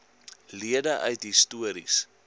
lede uit histories